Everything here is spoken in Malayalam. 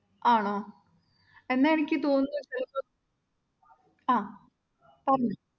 ആണോ? എന്നാ എനിക്ക് തോന്നുന്നത് ആഹ് പറഞ്ഞോ